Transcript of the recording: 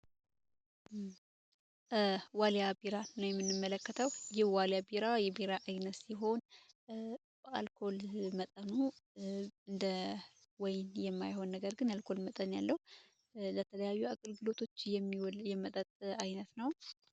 ዋልያ ቢራ ነው የምንመለከተው ይህ ዋልያ ቢራ የቢራ ዓይነት ሲሆን የአልኮል መጠኑ እንደወይን የማይሆን ነገር ግን የአልኮል መጠን ያለው አይነት ነው።